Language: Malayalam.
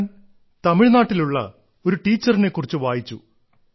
ഞാൻ തമിഴ്നാട്ടിലുള്ള ഒരു അധ്യാപികയെക്കുറിച്ച് വായിച്ചു